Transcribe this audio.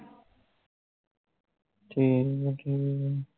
ਠੀਕ ਐ ਠੀਕ ਐ